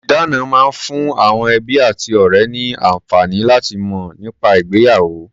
Ìdána máa ń fún àwọn ẹbí àti ọ̀rẹ́ ní àǹfààní láti mọ̀ nípa ìgbéyàwó.